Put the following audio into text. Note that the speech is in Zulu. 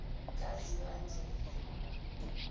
kazibandlela